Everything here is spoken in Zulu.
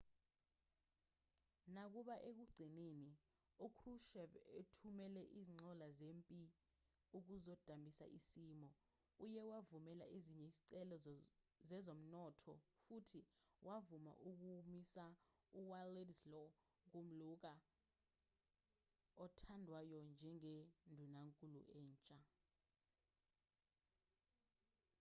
nakuba ekugcineni ukrushchev ethumele izinqola zempi ukuzodambisa isimo uye wavumela ezinye izicelo zezomnotho futhi wavuma ukumisa uwladyslaw gomulka othandwayo njengendunankulu entsha